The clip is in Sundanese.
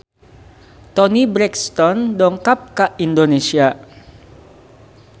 Toni Brexton dongkap ka Indonesia